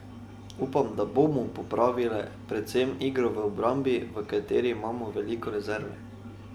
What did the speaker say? Upam, da bomo popravile predvsem igro v obrambi, v kateri imamo veliko rezerve.